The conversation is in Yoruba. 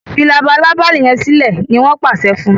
fí Labalábá yén silẹ! ní wón pàṣẹ fún.